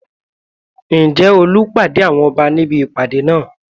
Ǹjẹ́ Olú pàdé àwọn Ọba ní ibi ìpàdé náà?